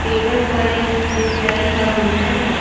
Table पर एक बिसलेरी का बोतल है।